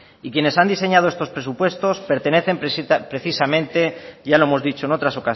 y quienes han diseñado estos presupuestos pertenecen precisamente ya lo hemos dicho en otras